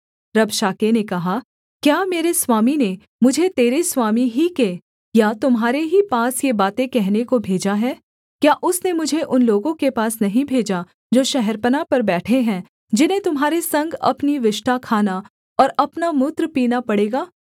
रबशाके ने कहा क्या मेरे स्वामी ने मुझे तेरे स्वामी ही के या तुम्हारे ही पास ये बातें कहने को भेजा है क्या उसने मुझे उन लोगों के पास नहीं भेजा जो शहरपनाह पर बैठे हैं जिन्हें तुम्हारे संग अपनी विष्ठा खाना और अपना मूत्र पीना पड़ेगा